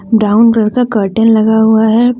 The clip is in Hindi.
ब्राउन कलर का कर्टेन लगा हुआ है।